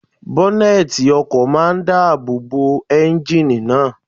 Bọ́nẹ̀tì ọkọ̀ máa n dáàbò bo éúnjínì náà